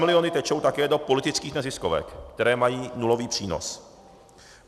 Stamiliony tečou také do politických neziskovek, které mají nulový přínos.